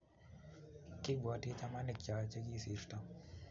Kipwoti chamanik choo Che kisirto